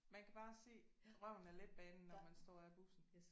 Man kan bare se røven af letbanen når man står af bussen